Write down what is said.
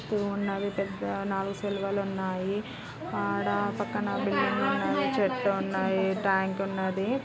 చుట్టూ ఉన్నవి పెద్ద నాలుగు సిలువలు ఉన్నవి ఆడ ఒక బిల్డింగ్ ఉన్నది చెట్టు ఉన్నది ట్యాంకు ఉన్నది .